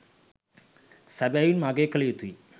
සැබවින්ම අගය කල යුතුයි.